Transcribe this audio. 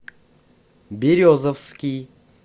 березовский